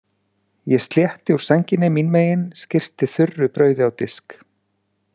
Ég slétti úr sænginni mín megin, skyrpi þurru brauði á disk.